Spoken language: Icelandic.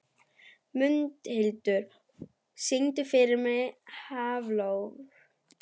Mundhildur, syngdu fyrir mig „Háflóð“.